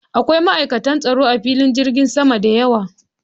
Akwai ma'aikata tsaro a filin jirgin sama da yawa